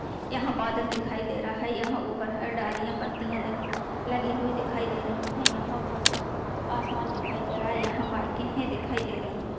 यहाँ बादल दिखाई दे रहा है यहाँ ऊपर हर डालियां पत्तियाँ लगी हुई दिखाई दे रही है यहाँ बहुत सा आसमान दिखाई दे रहा है यहाँ बाइके हैं दिखाई दे रही है।